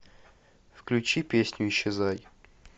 включи песню исчезай